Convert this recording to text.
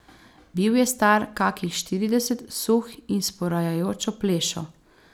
Bil je star kakih štirideset, suh in s porajajočo plešo.